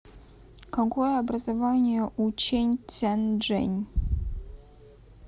какое образование у чэнь цзяньжэнь